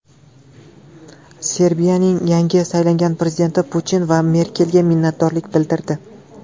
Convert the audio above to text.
Serbiyaning yangi saylangan prezidenti Putin va Merkelga minnatdorlik bildirdi.